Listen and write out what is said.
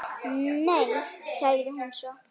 Nei, sagði hún svo.